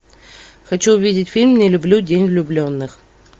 хочу увидеть фильм не люблю день влюбленных